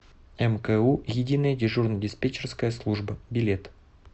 мку единая дежурно диспетчерская служба билет